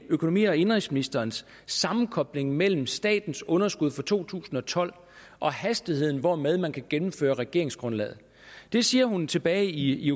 økonomi og indenrigsministerens sammenkobling mellem statens underskud for to tusind og tolv og hastigheden hvormed man kan gennemføre regeringsgrundlaget det siger hun tilbage i i